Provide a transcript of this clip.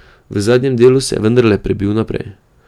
V zadnjem delu se je vendarle prebil naprej.